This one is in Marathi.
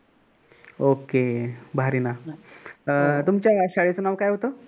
OKAY भारीय ना. तुमच्या शाळेच नाव काय होत